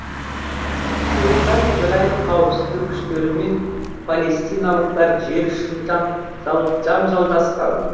онда израиль қауіпсіздік күштері мен палестиналықтар жер үшін жанжалдасқан